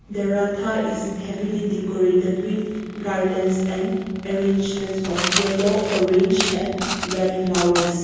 the ratha is heavily decorated with garlands and arrangements of yellow orange and red flowers.